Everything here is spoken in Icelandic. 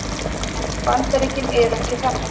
En Bandaríkin eru ekki þannig